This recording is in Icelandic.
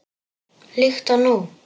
Líkt og nú.